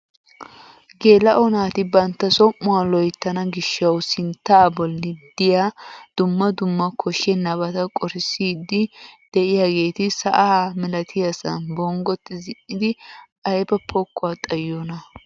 Geela'o naati bantta som"uwaa loyttana gishshawu sinttaa bolli de'iyaa dumma dumma koshshenabata qorissiidi de'iyaageti sa'a milatiyaasan bonggoti zin"idi ayba pokkuwaa xayiyoonaa!